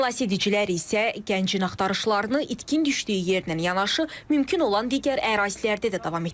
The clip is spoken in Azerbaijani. Xilasedicilər isə gəncin axtarışlarını itkin düşdüyü yerdən yanaşı, mümkün olan digər ərazilərdə də davam etdirirlər.